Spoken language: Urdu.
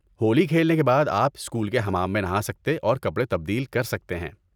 ہولی کھیلنے کے بعد آپ اسکول کے حمام میں نہا سکتے اور کپڑے تبدیل کر سکتے ہیں۔